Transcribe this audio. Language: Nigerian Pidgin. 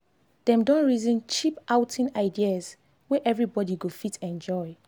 dem don reason cheap outing ideas wey everybody go fit enjoy.